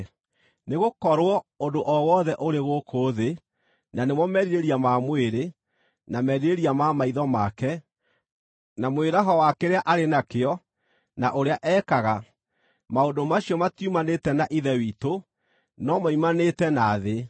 Nĩgũkorwo ũndũ o wothe ũrĩ gũkũ thĩ, na nĩmo merirĩria ma mwĩrĩ, na merirĩria ma maitho make, na mwĩraho wa kĩrĩa arĩ nakĩo na ũrĩa ekaga: maũndũ macio matiumanĩte na Ithe witũ, no moimanĩte na thĩ.